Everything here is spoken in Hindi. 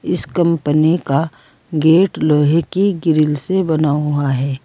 इस कंपनी का गेट लोहे की ग्रील से बना हुआ है।